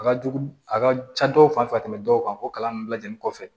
A ka jugu a ka ca dɔw fan fɛ ka tɛmɛ dɔw kan o kalan nunnu lajɛli kɔfɛ